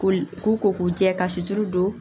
Ko k'u ko k'u jɛ ka situru don